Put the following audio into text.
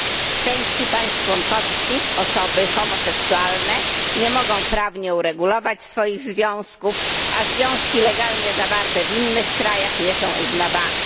W części państw członkowskich osoby homoseksualne nie mogą prawnie uregulować swoich związków, a związki legalnie zawarte w innych krajach nie są uznawane.